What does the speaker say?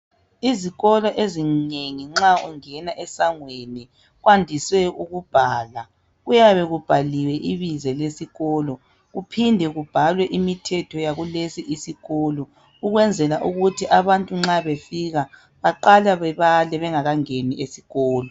Izikolo ezinengi nxa ungena esangweni kwandise ukubhalwa. Kuyabe kubhaliwe ibizo lesikolo kuphinde kubhalwe imithetho yakulesisikolo ukwenzela ukuthi abantu nxa befika baqale babale bengakangeni esikolo.